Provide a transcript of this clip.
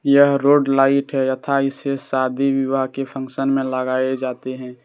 यह road light है यथा इसे शादी विवाह के फंक्शन में लगाए जाते है।